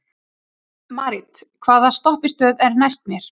Marit, hvaða stoppistöð er næst mér?